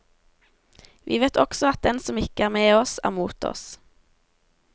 Vi vet også at den som ikke er med oss, er mot oss.